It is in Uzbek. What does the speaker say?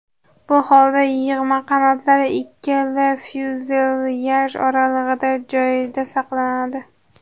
Bu holda yig‘ma qanotlar ikkala fyuzelyaj oralig‘idagi joyda saqlanadi.